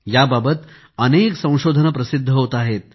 याबाबत अनेक संशोधने प्रसिद्ध होत आहेत